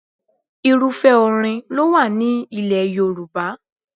Irúfẹ́ orin ló wà ní ilẹ̀ Yorùbá.